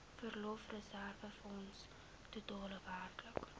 verlofreserwefonds totaal werklik